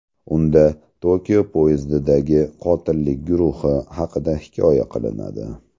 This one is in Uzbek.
Unda Tokio poyezdidagi qotillik guruhi haqida hikoya qilinadi.